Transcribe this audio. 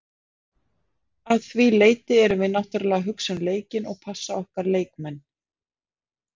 Að því leyti erum við náttúrulega að hugsa um leikinn og passa okkar leikmenn.